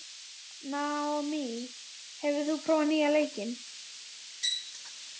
Naomí, hefur þú prófað nýja leikinn?